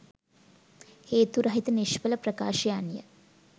හේතු රහිත නිශ්ඵල ප්‍රකාශයන් ය